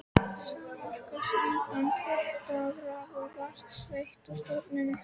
Samorka, samband hita-, raf- og vatnsveitna, stofnuð.